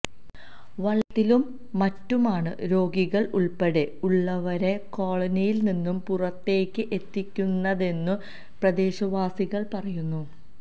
വള്ളത്തിലും മറ്റു മാണ് രോഗികള് ഉള്പ്പെടെ ഉള്ളവരെ കോളനിയില് നിന്നും പുറത്തേക്ക് എത്തിക്കുന്നന്നെു പ്രദേശവാസികള് പറയുന്നു